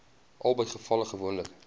albei gevalle gewoonlik